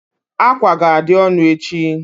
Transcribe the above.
Ákwà ga-adị ọnụ echi.